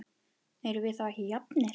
Erum við þá ekki jafnir?